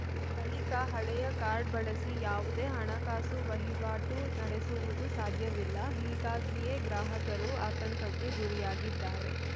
ಬಳಿಕ ಹಳೆಯ ಕಾರ್ಡ್‌ ಬಳಸಿ ಯಾವುದೇ ಹಣಕಾಸು ವಹಿವಾಟು ನಡೆಸುವುದು ಸಾಧ್ಯವಿಲ್ಲ ಹೀಗಾಗಿಯೇ ಗ್ರಾಹಕರು ಆತಂಕಕ್ಕೆ ಗುರಿಯಾಗಿದ್ದಾರೆ